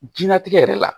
Jɛnatigɛ yɛrɛ la